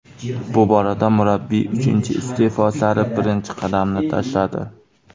Bu borada murabbiy uchinchi iste’fo sari birinchi qadamni tashladi.